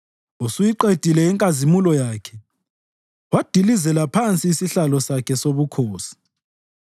Usuyiqedile inkazimulo yakhe wadilizela phansi isihlalo sakhe sobukhosi.